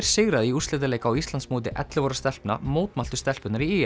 sigraði í úrslitaleik á Íslandsmóti ellefu ára stelpna mótmæltu stelpurnar í